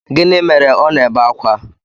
Gịnị mere ọ na-ebe akwa?